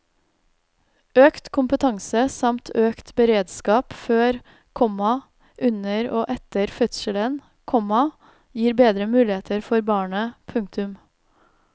Økt kompetanse samt økt beredskap før, komma under og etter fødselen, komma gir bedre muligheter for barnet. punktum